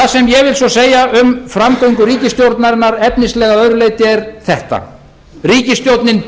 ég vil svo segja um framgöngu ríkisstjórnarinnar efnislega að öðru leyti er þetta ríkisstjórnin